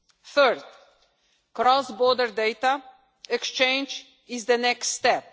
Thirdly, cross border data exchange is the next step.